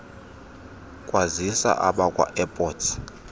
kwazisa abakwa airports